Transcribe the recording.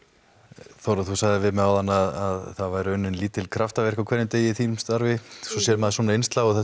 Þórunn þú sagðir við mig áðan að það væru unnin lítil kraftaverk á hverjum degi í þínu starfi svo sér maður svona innslag og það